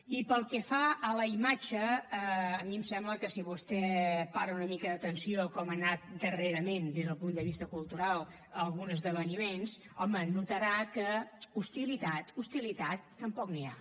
i pel que fa a la imatge a mi em sembla que si vostè para una mica d’atenció a com han anat darrerament des del punt de vista cultural alguns esdeveniments home notarà que d’hostilitat hostilitat tampoc n’hi ha